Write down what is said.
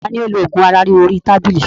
Tani ó lo ogún ara ríro orí tábìlì?